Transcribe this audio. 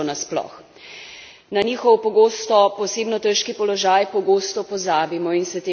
Na njihov, pogosto posebno težki položaj pogosto pozabimo in se tega ne zavedamo.